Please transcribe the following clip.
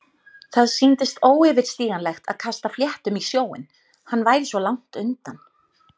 Hvernig sem ég reyndi að bægja þeim frá mér létu þær mig ekki í friði.